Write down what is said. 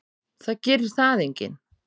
Það gerir það enginn.